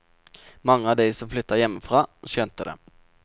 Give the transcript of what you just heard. Mange av dem som flyttet fra hjembygda, skjønte det.